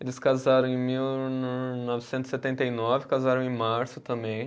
Eles casaram em mil no novecentos e setenta e nove, casaram em março também.